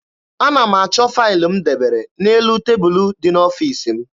Ana m achọ faịlụ m debere n'elu tebulu dị n'ọfiisi m.